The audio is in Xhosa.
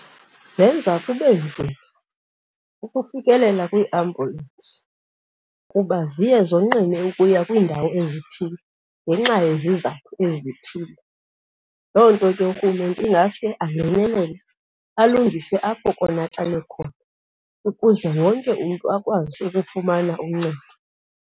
Zenza kube nzima ukufikelela kwiiambyulensi kuba ziye zonqine ukuya kwiindawo ezithile ngenxa yezizathu ezithile. Loo nto ke urhulumente ingaske angenelele alungise apho konakale khona ukuze wonke umntu akwazi ukufumana uncedo.